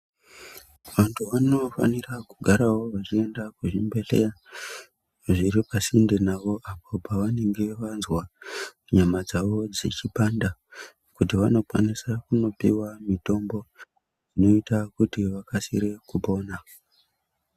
Vantu vanofanirawo kugarawo vachienda kuzvibhedhlera zviri pasinde navo apo pavanenge vanzwa nyama dzavo dzechipanda kuti vanokwanisa kunopiwa mitombo yoita kuti vakasire kupona .